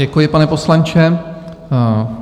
Děkuji, pane poslanče.